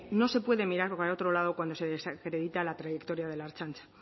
no se puede mirar para otro lado cuando se desacredita la trayectoria de la ertzaintza